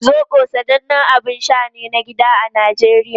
Zobo sanannen abin sha ne na gida a Najeriya.